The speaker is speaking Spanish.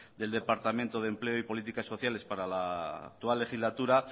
del departamento de empleo y política sociales para la actual legislatura